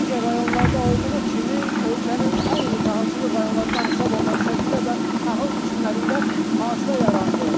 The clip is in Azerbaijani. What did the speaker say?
Digər rayonlarda olduğu kimi, ölkənin ən iri taxılçılıq rayonlarından hesab olunan Şəkidə də taxıl biçinlərində fasilə yarandı.